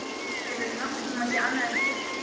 Hefurðu nokkurn tíma séð annað eins flykki?